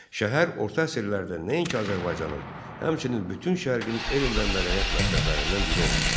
Şəhər orta əsrlərdə nəinki Azərbaycanın, həmçinin bütün şərqin elm və mədəniyyət mərkəzlərindən biri olmuşdur.